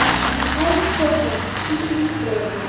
Kæri Stefán, hvíl í friði.